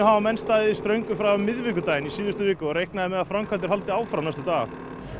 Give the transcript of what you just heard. hafa menn staðið í ströngu frá því á miðvikudaginn í síðustu viku og reiknað er með að framkvæmdir haldi áfram næstu daga